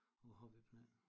På hobbyplan